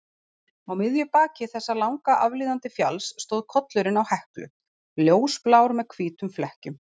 Á miðju baki þessa langa aflíðandi fjalls stóð kollurinn á Heklu, ljósblár með hvítum flekkjum.